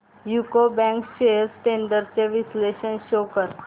UCO bank shares trends चे विश्लेषण show कर